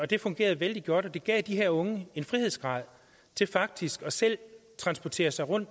det fungerede vældig godt og det gav de her unge en frihedsgrad til faktisk selv at transportere sig rundt